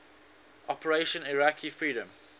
operation iraqi freedom